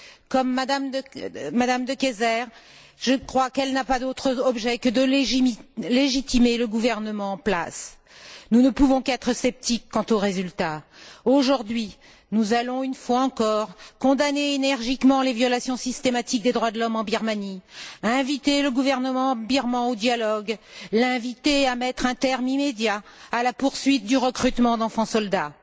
Comme M me De Keyser, je crois qu'elles n'ont pas d'autre objet que de légitimer le gouvernement en place. Nous ne pouvons qu'être sceptiques quant aux résultats. Aujourd'hui, nous allons une fois encore condamner énergiquement les violations systématiques des droits de l'homme en Birmanie, inviter le gouvernement birman au dialogue, l'inviter à mettre un terme immédiat à la poursuite du recrutement d'enfants soldats.